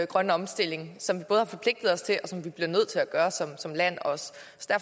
grønne omstilling som vi både har forpligtet os til og som vi også bliver nødt til at gøre som land